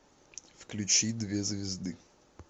включи две звезды